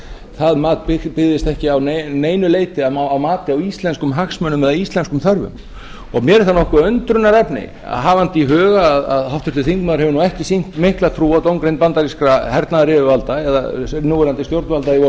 það mat byggðist ekki að neinu leyti á mati á íslenskum hagsmunum eða íslenskum þörfum mér er það nokkuð undrunarefni hafandi í huga að háttvirtur þingmaður hefur nú ekki sýnt mikla trú á dómgreind bandarískra hernaðaryfirvalda eða núverandi stjórnvalda í